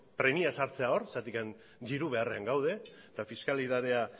premia sartzea hor diru beharrean baikaude eta fiskalitatea